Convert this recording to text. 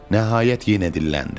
Nəhayət yenə dilləndi.